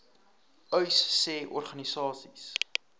uys sê organisasies